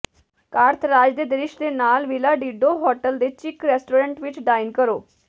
Carthage ਦੇ ਦ੍ਰਿਸ਼ ਦੇ ਨਾਲ ਵਿਲਾ ਡੀਡੋ ਹੋਟਲ ਦੇ ਚਿਕ ਰੈਸਟੋਰੈਂਟ ਵਿੱਚ ਡਾਈਨ ਕਰੋ